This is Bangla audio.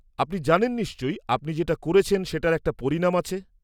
-আপনি জানেন নিশ্চয়ই, আপনি যেটা করেছেন সেটার একটা পরিণাম আছে?